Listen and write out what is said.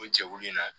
O jɛkulu in na